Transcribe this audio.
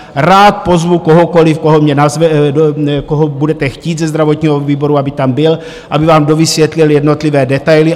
Rád pozvu kohokoliv, koho budete chtít, ze zdravotního výboru, aby tam byl, aby vám dovysvětlil jednotlivé detaily.